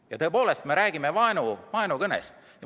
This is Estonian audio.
Ja tõepoolest: me räägime vaenukõnest.